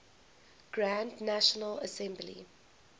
grand national assembly